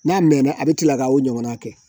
N'a mɛnna a bɛ kila k'o ɲɔgɔna kɛ